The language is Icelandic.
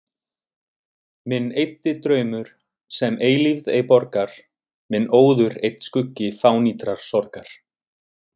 Minn eyddi draumur, sem eilífð ei borgar, minn óður einn skuggi fánýtrar sorgar.